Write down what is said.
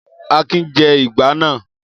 Akin jẹ ìgbá náà!